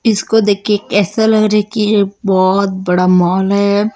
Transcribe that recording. इसको देखके ऐसा लग रहा है कि ये बहोत बड़ा मॉल है।